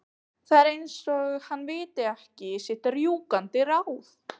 Það er eins og hann viti ekki sitt rjúkandi ráð.